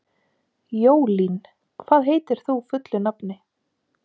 Jólín, hvað heitir þú fullu nafni?